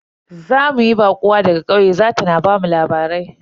Za mu yi baƙuwa daga ƙauye za ta na bamu labarai.